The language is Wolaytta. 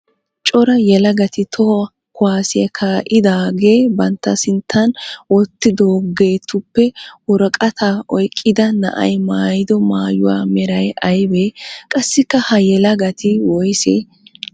Cora yelagatti toho kuwassiya kaa'iidi daaga bantta sinttan wotidagettuppe woraqata oyqqida na'ay maayido maayuwa meray aybee? Qassikka ha yelagatti woysse?